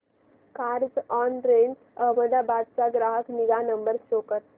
Carzonrent Ahmedabad चा ग्राहक निगा नंबर शो कर